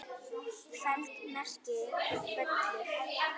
feld merkir völlur.